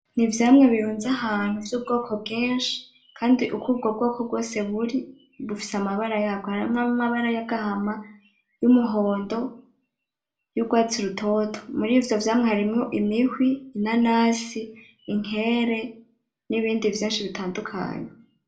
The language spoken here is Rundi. N'ivyamwa birunze ahantu vy'ubwoko bwinshi kandi uko ubwo bwoko bwose buri, bufise amabara y'abwo. Harimwo amabara y'agahama, y'umuhondo, y'urwatsi rutoto. Murivyo vyamwa harimwo imihwi, inanasi, inkere, n'ibindi vyinshi bitandukanye.